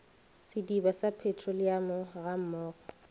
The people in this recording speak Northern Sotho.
sediba sa petroleamo ga mmogo